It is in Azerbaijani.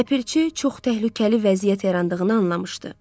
Ləpirçi çox təhlükəli vəziyyət yarandığını anlamışdı.